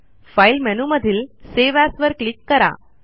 file मेनूमधील save as वर click करा